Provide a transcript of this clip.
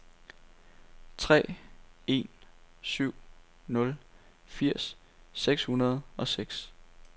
tre en syv nul firs seks hundrede og seks